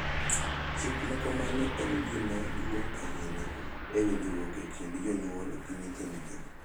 Chik ma kamano en gima duong’ ahinya e winjruok e kind jonyuol gi nyithindgi,